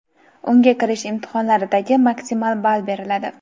unga kirish imtihonlaridagi maksimal ball beriladi.